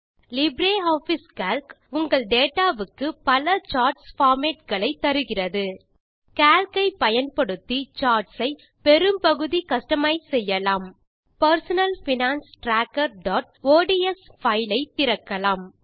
LibreOffice Calc உங்கள் data வுக்கு பல சார்ட்ஸ் பார்மேட் களை தருகிறது கால்க் ஐ பயன்படுத்தி சார்ட்ஸ் ஐ பெரும்பகுதி கஸ்டமைஸ் செய்யலாம் பெர்சனல் பைனான்ஸ் trackerஒட்ஸ் ஷீட் ஐ திறக்கலாம்